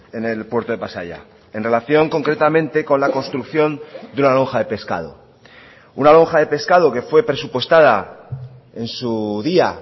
en el puerto de pasaia en relación concretamente con la construcción de la lonja de pescado una lonja de pescado que fue presupuestada en su día